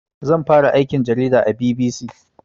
Zan fara aikin jarida a BBC